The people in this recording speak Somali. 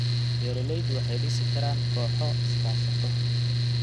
Beeraleydu waxay dhisi karaan kooxo iskaashato.